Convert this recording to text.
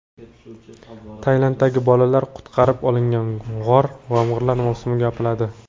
Tailanddagi bolalar qutqarib olingan g‘or yomg‘irlar mavsumida yopiladi.